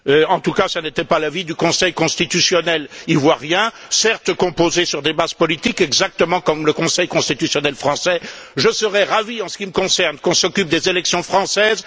En tout cas, ce n'était pas l'avis du Conseil constitutionnel ivoirien, certes composé sur des bases politiques, exactement comme le Conseil constitutionnel français. Je serais ravi, en ce qui me concerne, qu'on s'occupe des élections françaises.